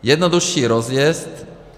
Jednodušší rozjezd.